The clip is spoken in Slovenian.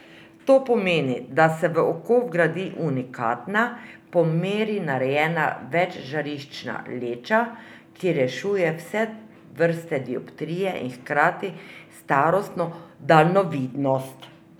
To pomeni, da se v oko vgradi unikatna, po meri narejena večžariščna leča, ki rešuje vse vrste dioptrije in hkrati starostno daljnovidnost.